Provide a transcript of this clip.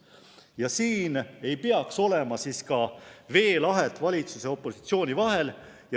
Ja siin ei peaks olema ka veelahet valitsuse ja opositsiooni vahel.